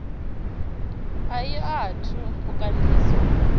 a i athu u kandiswa